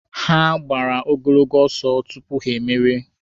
Ha gbara ogologo ọsọ tupu ha emerie.